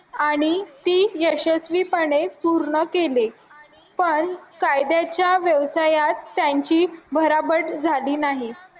आणि ती यशस्वीपणे पूर्ण केली पण कायद्याच्या व्यवसायास त्यांची भराभट झाली नाही